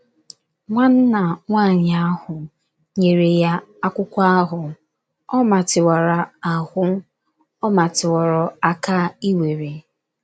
Nwanna nwaanyị ahụ, nyere ya akwụkwọ ahụ, ọ matịworo ahụ, ọ matịworo aka ị were.